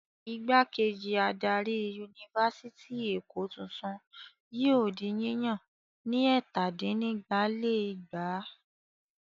Ìgbákejì adarí Yunifásitì Èkó tuntun yóò di yíyàn ní ẹ̀tàdínnígba-lé-ẹgbàá.